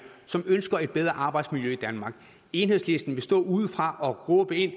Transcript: som ønsker et bedre arbejdsmiljø i danmark enhedslisten vil stå udefra og råbe ind